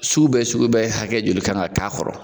Sugu bɛ sugu bɛ hakɛ joli kan ka k'a kɔrɔ